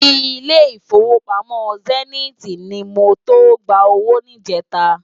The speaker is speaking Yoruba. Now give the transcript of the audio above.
Ilé Ifówópámò Sèniti ni mó to gbá ówó nijètá